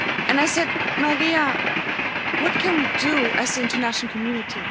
I said Maria, what can we do as the international community?